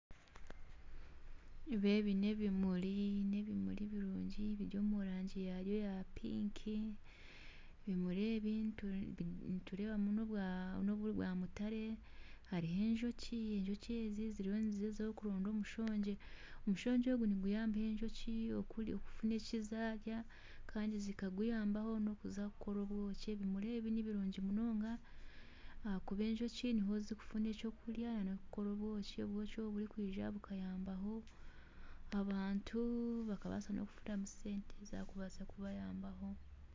Ebi n'ebimuri n'ebimuri birungi biri omu rangi yaayo eya piiki, ebimuri ebi nitureebamu n'obwa mutaare, hariho n'enjoki ezi ziriyo nigyezaho kuronda omushongye, omushongye ogu niguyambaho enjoki kubona eki zarya kandi zikaguyambaho kuza kukora obwoki ebimuri ebi nibirungi ahakuba enjoki niho zirikukora obwoki obwo bukahweraho abantu bakabaasa kufunamu sente zikabaasa kubahweraho